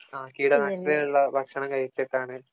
ആ കീട നാശിനികളുള്ള ഭക്ഷണം കഴിച്ചിട്ടാണ്